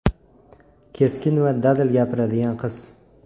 Keskin va dadil gapiradigan qiz.